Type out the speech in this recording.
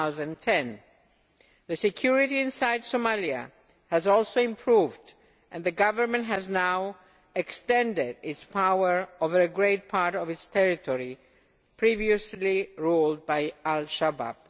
2010. Security inside Somalia has also improved and the government has now extended its power over a great part of its territory previously ruled by Al Shabaab.